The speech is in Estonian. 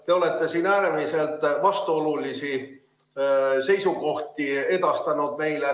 Te olete siin meile äärmiselt vastuolulisi seisukohti edastanud.